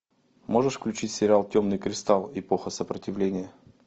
можешь включить сериал темный кристалл эпоха сопротивления